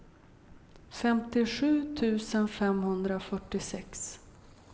femtiosju tusen femhundrafyrtiosex